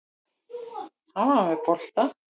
Hann var með boltann.